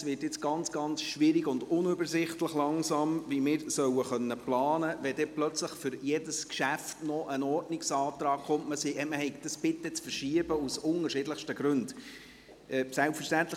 Es wird jetzt langsam ganz schwierig und unübersichtlich, wie wir planen können sollen, wenn plötzlich für jedes Geschäft noch ein Ordnungsantrag kommt, man habe dies aus unterschiedlichsten Gründen bitte zu verschieben.